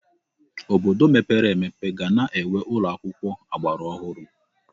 Obodo mepere emepe ga na-enwe ụlọ akwụkwọ ọgbaraọhụrụ.